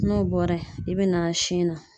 N'o bɔra ye i bɛ na sin na.